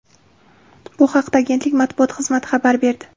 Bu haqda agentlik matbuot xizmati xabar berdi.